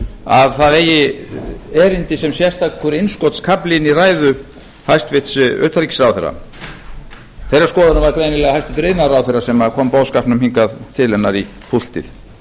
að það eigi erindi sem sérstakur innskotskafli inn í ræðu hæstvirts utanríkisráðherra þeirrar skoðunar var greinilega hæstvirtur iðnaðarráðherra sem kom boðskapnum hingað til hennar í púltið